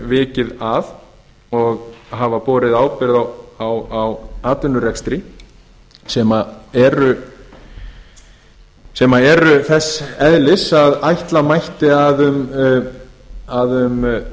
hefur borið ábyrgð á atvinnurekstri eins og ég hef vikið hér að dóma sem eru þess eðlis að ætla mætti að um